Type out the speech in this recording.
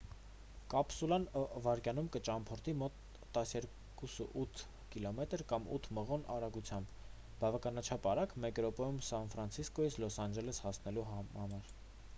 կապսուլան վայրկյանում կճամփորդի մոտ 12,8 կմ կամ 8 մղոն արագությամբ բավականաչափ արագ մեկ րոպեում սան ֆրանցիսկոյից լոս անջելես հասնելու համար